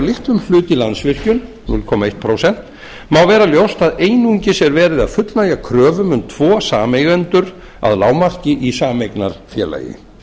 litlum hluta í landsvirkjun núll komma eitt prósent má vera ljóst að einungis er verið að fullnægja kröfum um tvo sameigendur að lágmarki í sameignarfélagi